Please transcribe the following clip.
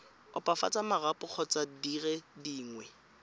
opafatsa marapo kgotsa dire dingwe